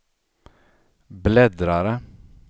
bläddrare